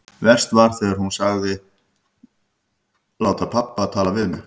Verst var þegar hún sagðist myndu láta pabba tala við mig.